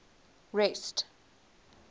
rest